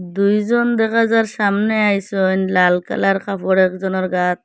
দুইজন দেখা যার সামনে একজন লাল কালার কাপড় একজনার গায়েত।